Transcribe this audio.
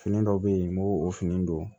Fini dɔw bɛ yen n b'o o fini don